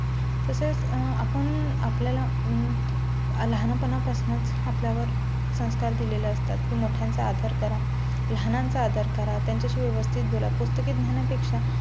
तसेच आपण आपल्या ला लहानपणापासून आपल्या वर संस्कार दिलेले असतात की मोठ्यांचा आदर करा, लहानांचा आदर करा, त्यांच्या शी व्यवस्थित बोला. पुस्तकी ज्ञाना पेक्षा